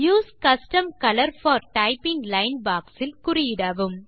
use custom colour for typing line box இல் குறியிடவும்